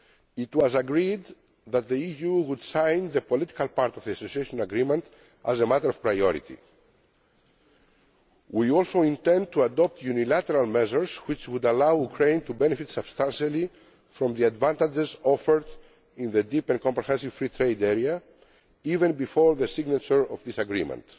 It was agreed that the EU would sign the political part of the Association Agreement as a matter of priority. We also intend to adopt unilateral measures which would allow Ukraine to benefit substantially from the advantages offered in the Deep and Comprehensive Free Trade Area, even before the signature of this